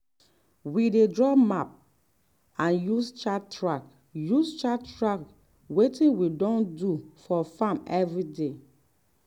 we dey draw map and use chart track use chart track wetin we don do for farm everyday.